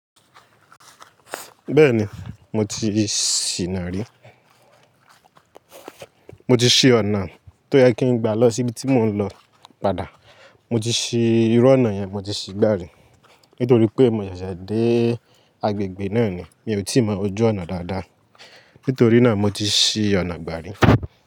Bẹ́ẹ̀ni, mo ti ṣìna rí. Mo ti ṣí ọ̀nà tó yẹ kí n gba lọ sí ibi tí mò ń lọ padà. Mo ti ṣí irú ọ̀nà yẹn, mo ti ṣí gbà rí. Nítorí pé mo ṣẹ̀ṣẹ̀ dé agbègbè náà ni, mi ò tí ì mọ ojú ọ̀nà dáadáa. Nítorí náà mo ti ṣí ọ̀nà gbà rí.